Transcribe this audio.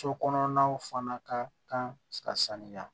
So kɔnɔnaw fana ka kan ka sanuya